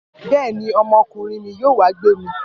Bẹ́ẹ̀ ni, ọmọkùnrin mi yóò wá gbé mi.